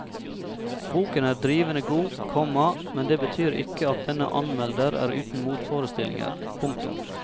Boken er drivende god, komma men det betyr ikke at denne anmelder er uten motforestillinger. punktum